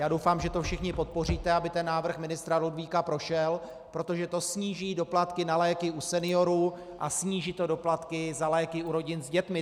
Já doufám, že to všichni podpoříte, aby ten návrh ministra Ludvíka prošel, protože to sníží doplatky na léky u seniorů a sníží to doplatky za léky u rodin s dětmi.